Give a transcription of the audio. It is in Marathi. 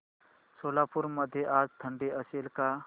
सोलापूर मध्ये आज थंडी असेल का